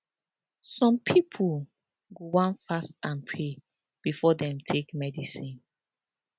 some pipo go wan fast and pray before dem take medicine